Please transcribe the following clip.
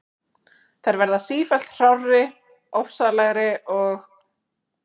Þær verða sífellt hrárri, ofsalegri og